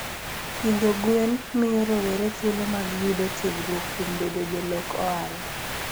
Pidho gwen miyo rowere thuolo mag yudo tiegruok kuom bedo jolok ohala.